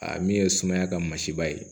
A min ye sumaya ka masiba ye